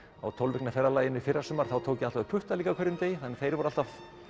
á tólf vikna ferðalagi mínu í fyrrasumar tók ég alltaf upp puttaling á hverjum degi þannig að þeir voru alltaf